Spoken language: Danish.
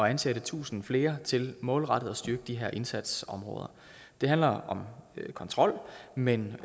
at ansætte tusind flere til målrettet at styrke de her indsatsområder det handler om kontrol men